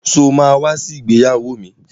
Sọ ma wá sí ìgbéyàwó mi?